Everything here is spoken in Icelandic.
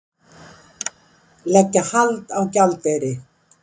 Leggja hald á gjaldeyri